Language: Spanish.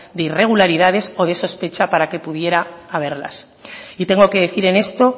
de irregularidades o de sospecha para que pudiera haberlas y tengo que decir en esto